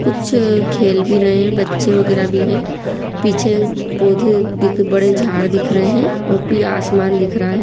कुछ खेल भी रहे हैं बच्चे वगेरह भी है पीछे पोधे बड़े झाड़ दिख रहे हैं और फिर आसमान दिख रहा है।